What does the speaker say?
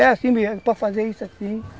É assim, para fazer isso assim.